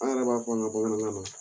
An yɛrɛ b'a fɔ nin ma bamanankan la